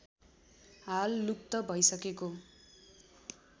हाल लुप्त भैसकेको